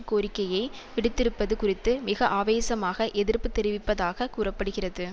கோரிக்கையை விடுத்திருப்பது குறித்து மிக ஆவேசமாக எதிர்ப்பு தெரிவிப்பதாகக் கூற படுகிறது